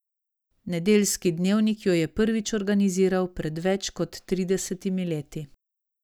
Nedeljski dnevnik jo je prvič organiziral pred več kot tridesetimi leti.